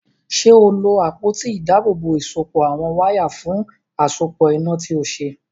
Ṣé o lo àpótí ìdábòòbò ìsopọ̀ àwọn wáyà fún àsopọ̀ iná tí o ṣe?